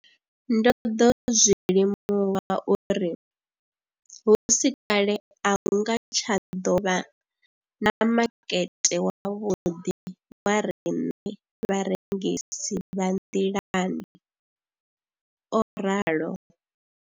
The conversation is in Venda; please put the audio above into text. Ndo ḓo zwi limuwa uri hu si kale a hu nga tsha ḓo vha na makete wavhuḓi wa riṋe vharengisi vha nḓilani, o ralo.